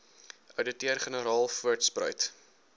ouditeur generaal voortspruit